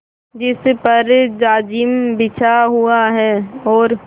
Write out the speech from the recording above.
जिस पर जाजिम बिछा हुआ है और